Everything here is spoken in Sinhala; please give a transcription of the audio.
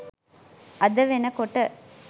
අද වෙනකොට